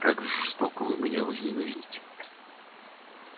как жестоко вы меня возненавидите